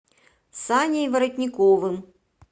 саней воротниковым